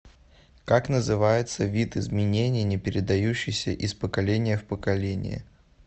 как называется вид изменений не передающийся из поколения в поколение